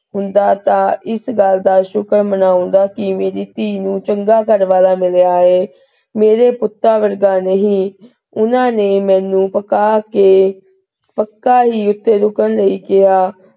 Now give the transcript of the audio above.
ਹੁੰਦਾ ਤਾਂ ਇਸ ਗੱਲ ਦਾ ਸ਼ੁਕਰ ਮਨਾਉਂਦਾ ਕਿ ਮੇਰੀ ਧੀ ਨੂੰ ਚੰਗਾ ਘਰਵਾਲਾ ਮਿਲਾ ਹੈ ਮੇਰੇ ਪੁੱਤਾਂ ਵਰਗਾ ਨਹੀ। ਉਹਨਾਂ ਨੇ ਮੈਨੂੰ ਪਕਾ ਕੇ ਪੱਕਾ ਹੀ ਉਥੇ ਰੁਕਣ ਲਈ ਕਿਹਾ।